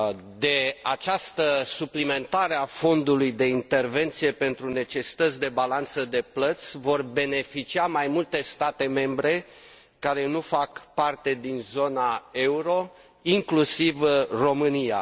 De această suplimentare a fondului de intervenție pentru necesități de balanță de plăți vor beneficia mai multe state membre care nu fac parte din zona euro, inclusiv România.